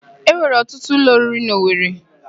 E nwere ọtụtụ ụlọ oriri n'Owere.